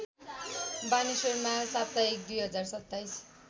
बानेश्वरमा साप्ताहिक २०२७